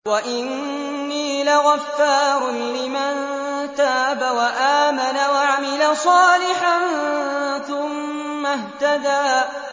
وَإِنِّي لَغَفَّارٌ لِّمَن تَابَ وَآمَنَ وَعَمِلَ صَالِحًا ثُمَّ اهْتَدَىٰ